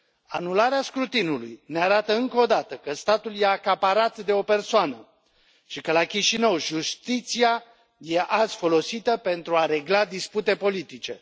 Anularea scrutinului ne arată, încă o dată, că statul este acaparat de o persoană și că, la Chișinău, justiția este azi folosită pentru a regla dispute politice.